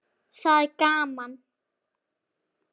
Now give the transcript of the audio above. Það er gaman.